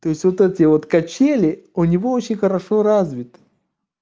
то есть вот эти вот качели у него очень хорошо развиты